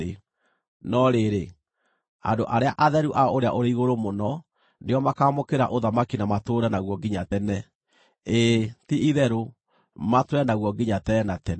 No rĩrĩ, andũ arĩa atheru a Ũrĩa-ũrĩ-Igũrũ-Mũno nĩo makaamũkĩra ũthamaki na matũũre naguo nginya tene, ĩĩ, ti-itherũ, matũũre naguo nginya tene na tene.’